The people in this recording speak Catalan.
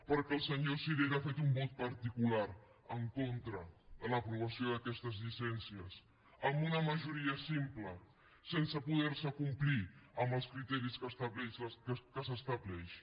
perquè el senyor sirera ha fet un vot particular en contra de l’aprovació d’aquestes llicències amb una majoria simple sense poder complir amb els criteris que s’estableixen